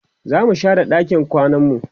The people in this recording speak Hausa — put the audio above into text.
zamu share ɗakin kwananmu